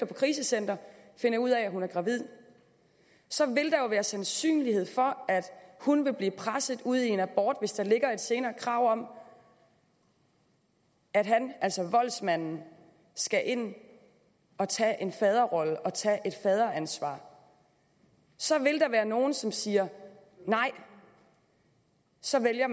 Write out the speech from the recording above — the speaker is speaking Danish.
på krisecenter og finder ud af at hun er gravid så vil der jo være sandsynlighed for at hun vil blive presset ud i en abort hvis der ligger et senere krav om at han altså voldsmanden skal ind og tage en faderrolle og tage et faderansvar så vil der være nogle som siger nej og som vælger